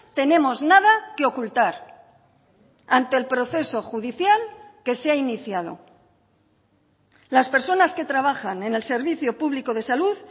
tenemos nada que ocultar ante el proceso judicial que se ha iniciado las personas que trabajan en el servicio público de salud